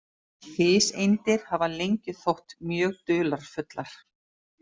Fiseindir hafa lengi þótt mjög dularfullar.